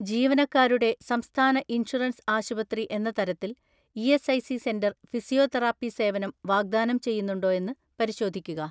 ജീവനക്കാരുടെ സംസ്ഥാന ഇൻഷുറൻസ് ആശുപത്രി എന്ന തരത്തിൽ ഇ.എസ്.ഐ.സി സെന്റർ ഫിസിയോതെറാപ്പി സേവനം വാഗ്ദാനം ചെയ്യുന്നുണ്ടോയെന്ന് പരിശോധിക്കുക.